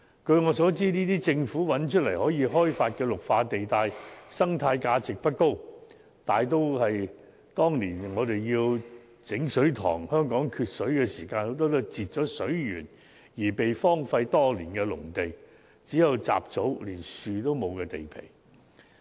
據我所知，政府所物色到可供開發的綠化地帶，生態價值不高，大多數是當年香港缺水時被闢作水塘，但在截水源後已被荒廢多年的農地，只有雜草，連樹木也欠奉。